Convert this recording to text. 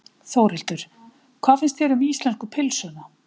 Þórhildur: Hvað finnst þér um íslensku pylsuna?